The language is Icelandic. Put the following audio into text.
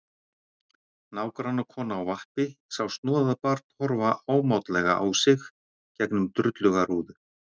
Nágrannakona á vappi sá snoðað barn horfa ámátlega á sig gegnum drulluga rúðu.